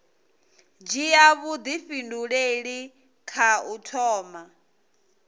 dzhia vhuifhinduleli kha u thoma